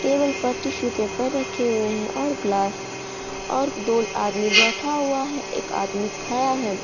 Table पर tissue paper रखे हुए हैं और ग्लास और दो आदमी बैठा हुआ है एक आदमी खड़ा है।